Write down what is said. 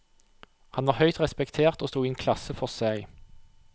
Han var høyt respektert og sto i en klasse for seg.